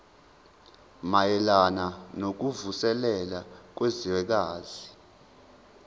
mayelana nokuvuselela kwezwekazi